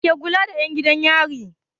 Wa ke kula da 'yan gidan yari?